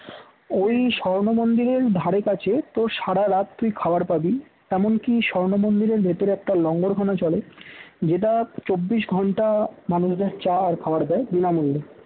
ঐ স্বর্ণ মন্দিরের ধারেকাছে তো সারা রাত্রি খাবার পাবি এমনকী স্বর্ণমন্দিরের ভেতরে একটা লঙ্গরখানা চলে যেটা চব্বিশ ঘণ্টা মানুষের চা আর খাবার দেয় বিনামূল্যে